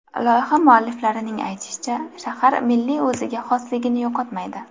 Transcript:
Loyiha mualliflarining aytishicha, shahar milliy o‘ziga xosligini yo‘qotmaydi.